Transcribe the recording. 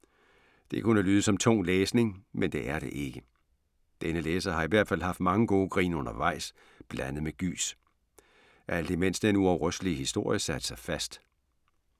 Det kunne lyde som tung læsning. Men det er det ikke. Denne læser har i hvert fald haft mange gode grin undervejs, blandet med gys. Alt imens den uafrystelige historie satte sig fast.